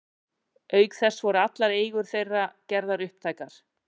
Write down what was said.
Auk þess voru allar eigur þeirra gerðar upptækar.